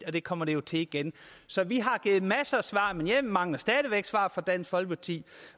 og det kommer det til igen så vi har givet masser af svar men jeg mangler stadig væk svar fra dansk folkeparti